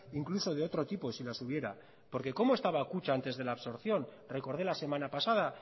incluso de otro tipo si las hubiera porque cómo estaba kutxa antes de las absorción recorde la semana pasada